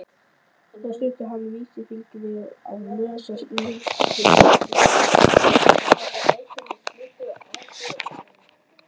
Svo studdi hann vísifingri á nös og snýtti sér duglega.